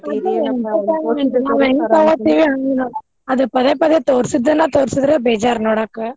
ನಾವ್ ಹೆಂಗ್ ತೋಗೋತೀವ್ ಹಂಗ ಅದ್ ಪದೇ ಪದೇ ತೋರ್ಸಿದ್ದನ್ನ ತೋರ್ಸಿದ್ರ ಬೇಜಾರ್ ನೋಡಾಕ.